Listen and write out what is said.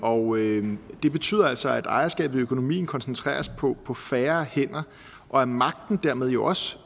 og det betyder altså at ejerskabet i økonomien koncentreres på på færre hænder og at magten dermed jo også